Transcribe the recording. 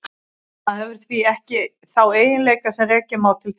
Það hefur því ekki þá eiginleika sem rekja má til þeirra.